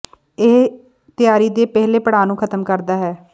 ਇਹ ਤਿਆਰੀ ਦੇ ਪਹਿਲੇ ਪੜਾਅ ਨੂੰ ਖ਼ਤਮ ਕਰਦਾ ਹੈ